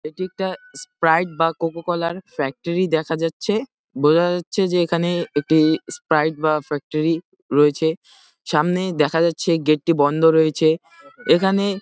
এটি একটা স্প্রাইট বা কোকা-কোলা -র ফ্যাক্টরি দেখা যাচ্ছে। বোঝা যাচ্ছে যে এখানে একটি স্প্রাইট বা ফ্যাক্টরি রয়েছে । সামনেই দেখা যাচ্ছে গেট টি বন্ধ রয়েছে। এখানে --